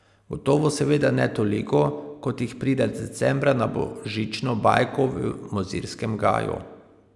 Gotovo seveda ne toliko, kot jih pride decembra na Božično bajko v Mozirskem gaju.